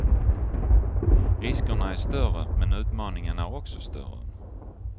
Riskerna är större men utmaningen är också större.